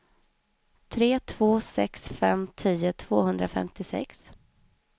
tre två sex fem tio tvåhundrafemtiosex